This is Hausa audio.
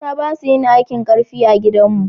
mata basu yin aikin karfi a gidan mu